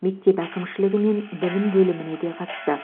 мектеп әкімшілігі мен білім бөліміне де қатысты